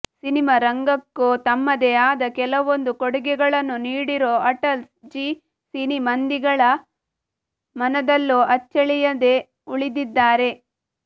cinema ರಂಗಕ್ಕೂ ತಮ್ಮದೇ ಆದ ಕೆಲವೊಂದು ಕೊಡುಗೆಗಳನ್ನು ನೀಡಿರೋ ಅಟಲ್ ಜಿ ಸಿನಿ ಮಂದಿಗಳ ಮನದಲ್ಲೂ ಅಚ್ಚಳಿಯದೆ ಉಳಿದಿದ್ದಾರೆ